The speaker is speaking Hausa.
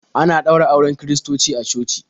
Ana ɗaura auren kiristoci a coci.